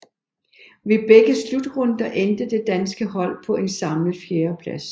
Ved begge slutrunder endte det danske hold på en samlet fjerdeplads